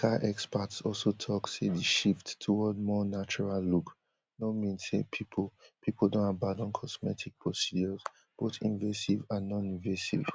medical experts also tok say di shift towards more natural look no mean say pipo pipo don abandon cosmetic procedures both invasive and noninvasive